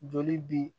Joli bi